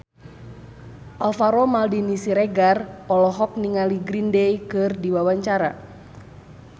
Alvaro Maldini Siregar olohok ningali Green Day keur diwawancara